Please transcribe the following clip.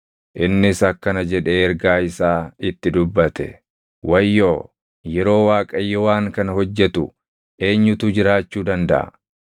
Innis akkana jedhee ergaa isaa itti dubbate: “Wayyoo! Yeroo Waaqayyo waan kana hojjetu // eenyutu jiraachuu dandaʼa?